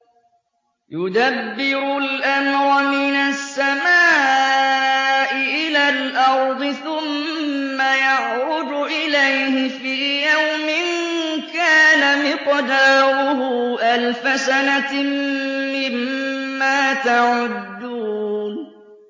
يُدَبِّرُ الْأَمْرَ مِنَ السَّمَاءِ إِلَى الْأَرْضِ ثُمَّ يَعْرُجُ إِلَيْهِ فِي يَوْمٍ كَانَ مِقْدَارُهُ أَلْفَ سَنَةٍ مِّمَّا تَعُدُّونَ